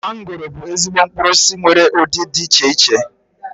Mangoro bụ ezigbo mkpụrụosisi nwere ụdị dị iche iche